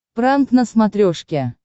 пранк на смотрешке